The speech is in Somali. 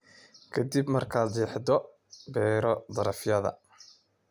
Ka dib markaad jeexdo, beero darafyada